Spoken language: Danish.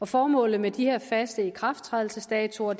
formålet med de her faste ikrafttrædelsesdatoer